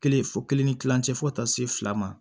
Kelen fɔ kelen ni kilancɛ fɔ ka taa se fila ma